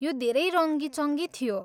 यो धेरै रङ्गी चङ्गी थियो।